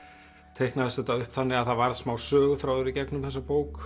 teiknaðist þetta upp þannig að það varð smá söguþráður í gegnum þessa bók